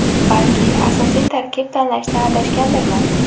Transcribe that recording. Balki, asosiy tarkib tanlashda adashgandirman.